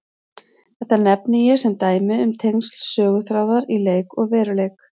Þetta nefni ég sem dæmi um tengsl söguþráðar í leik og veruleik.